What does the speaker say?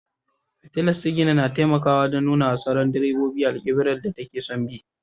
Fitilar sigina na taimakawa wajen nuna wa sauran direbobi alkiblar da take son bi.